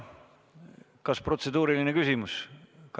Kas protseduuriline küsimus?